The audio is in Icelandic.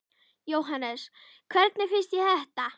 Jóhannes: Hvernig finnst þér þetta?